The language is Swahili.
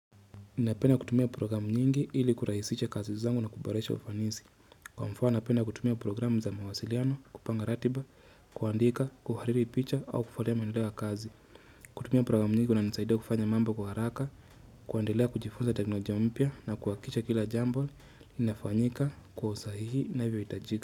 Ninapenda kutumia programu nyingi ili kurahisisha kazi zangu na kuboresha ufanisi. Kwa mfano, napenda kutumia programu za mawasiliano, kupanga ratiba, kuandika, kuhariri picha au kufuatilia maendeleo ya kazi. Kutumia programu nyingi kuna nisaida kufanya mambo kwa haraka, kuendelea kujifunza teknolojia mpya na kuhakikicha kila jambo. Linafanyika kwa usahihi inavyo itajika.